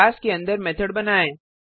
class के अंदर method बनाएँ